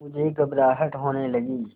मुझे घबराहट होने लगी